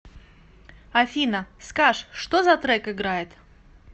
афина скаж что за трек играет